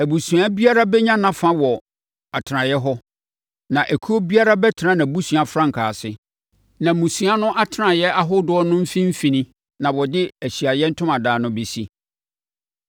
“Abusua biara bɛnya nʼafa wɔ atenaeɛ hɔ, na ekuo biara bɛtena nʼabusua frankaa ase. Na mmusua no atenaeɛ ahodoɔ no mfimfini na wɔde Ahyiaeɛ Ntomadan no bɛsi.”